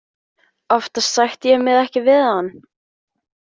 Oftast sætti ég mig ekki við hann.